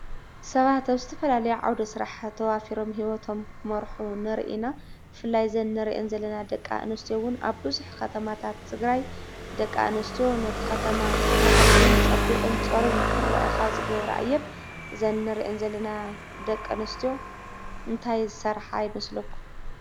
ሰባት ኣብ ዝተፋላለየ ዓዉደ ስራሕ ተዋፊሮሞ ሂወቶሞ ይመሩሑ ነርኢ ኢና። ብፍላይ ድማ እዘን ንሪኤን ዘለና ደቂ ኣንስትዮ ኣብ ቡዙሕ ኸተማታት ትግራይ ደቅ ኣኒስትዮ ነቲ ኸተማ ማዕሪጉ ፀቡቁን ፀሩዩን ክረእ ካብ ዚገብራ እየን። እዘን ኒርእን ዘለና ደቂ ኣኒስትዮ እንታይ ዝሰራሓ ይመስለኩሞ?